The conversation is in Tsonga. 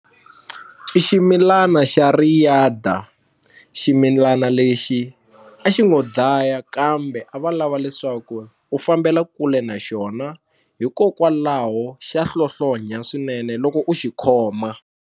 I ximilana xa riyada ximilana lexi a xi ngo dlaya kambe a va lava leswaku u fambela kule na xona hikokwalaho xa hlohlonya swinene loko u xikhoma.